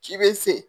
Ci be se